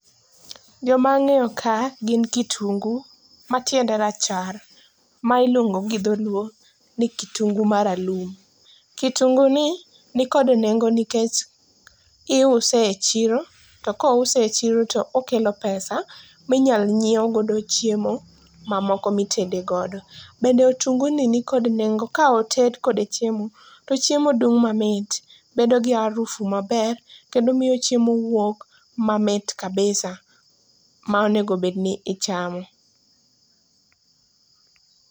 Joma ang'eyo ka gin kitungu matiende rachar ma ilero gi Dholuo ni kitungu maralum. Kitungu ni nikod nengo nikech iuse e chiro to kouse e chiro to okelo pesa minyal nyiewgodo chiemo mamoko mitedegodo. Bende otunguni nikod nengo ka oted kode chiemo to chiemo dung' mamit, bedogi harufu maber. Kendo miyo chiemo wuok mamit kabisa ma onegobedni ichamo.